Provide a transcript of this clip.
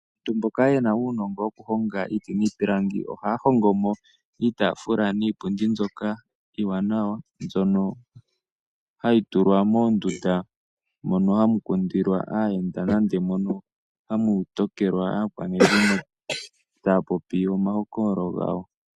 Aantu mboka yena uunongo woku honga iiti niipilangi ohaya hongo mo iitaafula niipundi iiwanawa, mbyono hayi tulwa moondundu dhono hadhi kundilwa aayenda, nande mono hamu tokelwa aakwanezimo taya popi omahokololo gawo.